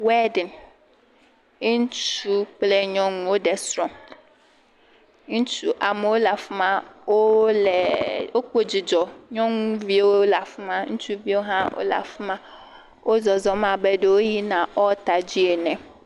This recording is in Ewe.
Wɔediŋ, ŋutsu kple nyɔnu woɖe srɔ̃, ŋutsu, amewo le afi ma, wole, wokpɔ dzidzɔ, nyɔnuviwo le afi ma, ŋutsuviwo hã wole afi ma, wozɔzɔm abe ɖe woyina ɖe ɔlta dzi ene.